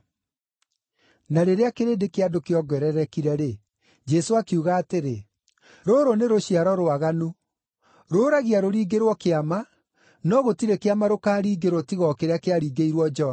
Na rĩrĩa kĩrĩndĩ kĩa andũ kĩongererekire-rĩ, Jesũ akiuga atĩrĩ, “Rũrũ nĩ rũciaro rwaganu. Rũũragia rũringĩrwo kĩama, no gũtirĩ kĩama rũkaringĩrwo tiga o kĩrĩa kĩaringĩirwo Jona.